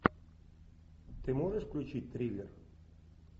ты можешь включить триллер